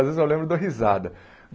Às vezes eu lembro e dou risada.